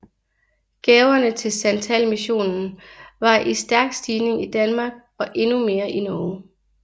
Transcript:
Gaverne til santalmissionen var i stærk stigning i Danmark og endnu mere i Norge